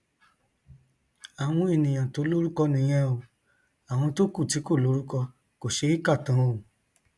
àwọn èèyàn tó lórúkọ nìyẹn o àwọn tó kù tí kò lórúkọ kò ṣeé kà tán o